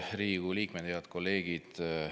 Head Riigikogu liikmed, head kolleegid!